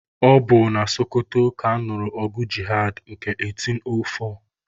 Ọ bụ na Sokoto ka a nụrụ ọgụ jihad nke 1804.